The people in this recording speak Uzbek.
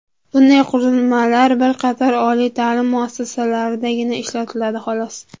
Bunday qurilmalar bir qator oliy ta’lim muassasalaridagina ishlatiladi, xolos.